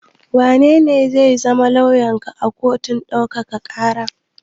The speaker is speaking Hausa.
Wanene zai zama lauyanka a kotun ɗaukaka ƙara?